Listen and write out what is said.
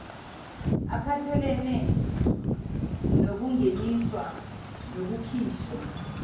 aphathelene nokungeniswa nokukhishwa